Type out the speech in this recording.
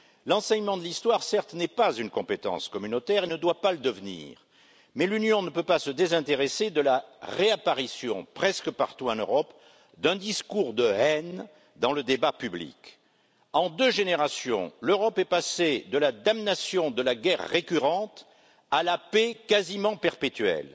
L'enseignement de l'histoire, certes, n'est pas une compétence communautaire et ne doit pas le devenir, mais l'Union ne peut pas se désintéresser de la réapparition, presque partout en Europe, d'un discours de haine dans le débat public. En deux générations, l'Europe est passée de la damnation de la guerre récurrente à la paix quasiment perpétuelle.